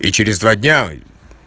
и через два дня